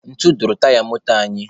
Ntu dupuru taya moto anyị.